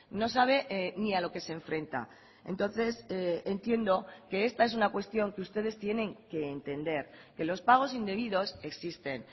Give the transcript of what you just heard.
no sabe ni a lo que se enfrenta entonces entiendo que esta es una cuestión que ustedes tienen que entender que los pagos indebidos existen